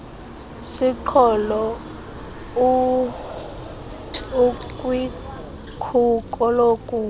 siqholo ukwikhuko lokufa